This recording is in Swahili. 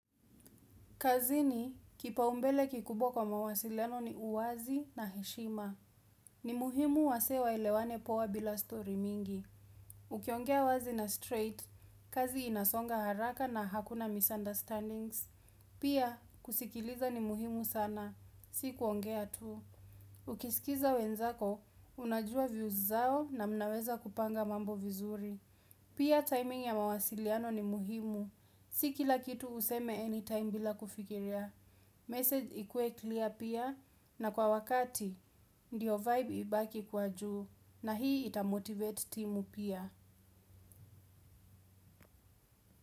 Kazini, kipaumbele kikubwa kwa mawasiliano ni uwazi na heshima. Ni muhimu wasee waelewane poa bila story mingi. Ukiongea wazi na straight, kazi inasonga haraka na hakuna misunderstandings. Pia, kusikiliza ni muhimu sana. Sikuongea tu. Ukisikiza wenzako, unajua views zao na mnaweza kupanga mambo vizuri. Pia timing ya mawasiliano ni muhimu. Si kila kitu useme anytime bila kufikiria. Message ikue clear pia na kwa wakati, ndio vibe ibaki kuwa juu, na hii itamotivate timu pia.